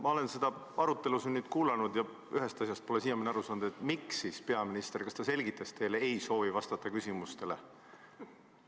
Ma olen seda arutelu siin nüüd kuulanud ja ühest asjast pole siiamaani aru saanud: kas peaminister selgitas teile, miks ta ei soovi küsimustele vastata?